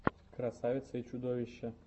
красавица и чудовище